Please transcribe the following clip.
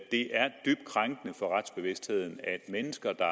det er dybt krænkende for retsbevidstheden at mennesker der